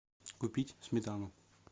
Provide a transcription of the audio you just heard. купить сметану